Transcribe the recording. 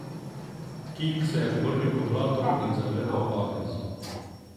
King se je obrnil k vratom in zagledal Agnes.